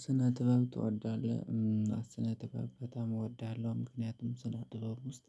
ስነ ጥበብ ትወዳለህ? ስነ ጥበብ በጣም እወድሃለሁ ምክንያቱም ስነ ጥበብ ውስጥ